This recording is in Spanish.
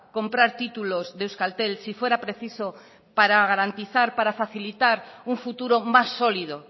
comprar títulos de euskaltel si fuera preciso para garantizar o para facilitar un futuro más sólido